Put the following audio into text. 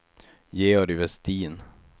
Georg Vestin